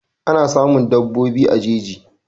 Ana samun daɓobi a jeji